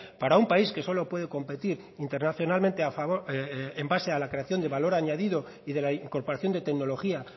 para un país que solo puede competir internacionalmente en base a la creación de valor añadido y de la incorporación de tecnología